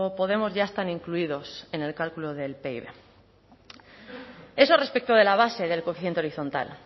podemos ya están incluidos en el cálculo del pib eso respecto de la base del coeficiente horizontal